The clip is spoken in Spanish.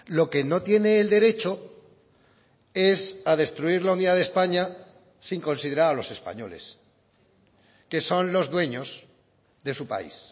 lo que no tiene el derecho es a destruir la unidad de españa sin considerar a los españoles que son los dueños de su país